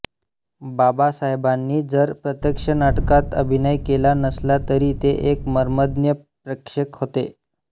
बाबासाहेबांनी जर प्रत्यक्ष नाटकात अभिनय केला नसला तरी ते एक मर्मज्ञ प्रेक्षक होते